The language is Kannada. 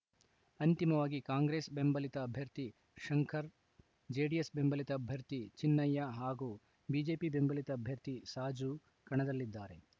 ಅಂತಿಮವಾಗಿ ಕಾಂಗ್ರೆಸ್‌ ಬೆಂಬಲಿತ ಅಭ್ಯರ್ಥಿ ಶಂಕರ್‌ ಜೆಡಿಎಸ್‌ ಬೆಂಬಲಿತ ಅಭ್ಯರ್ಥಿ ಚಿನ್ನಯ್ಯ ಹಾಗೂ ಬಿಜೆಪಿ ಬೆಂಬಲಿತ ಅಭ್ಯರ್ಥಿ ಸಾಜು ಕಣದಲ್ಲಿದ್ದಾರೆ